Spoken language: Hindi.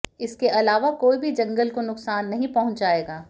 इसके अलावा कोई भी जंगल को नुकसान नहीं पहुंचाएगा